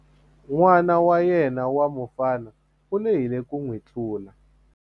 N'wana wa yena wa mufana u lehile ku n'wi tlula.